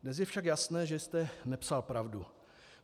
Dnes je však jasné, že jste nepsal pravdu.